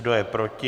Kdo je proti?